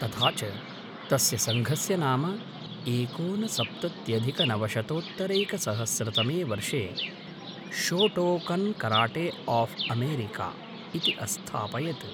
तथा च तस्य सङ्घस्य नाम एकोनसप्तत्यधिकनवशतोत्तरैकसहस्रतमे वर्षे शोटोकन्कराटे आफ् अमेरिका इति अस्थापयत्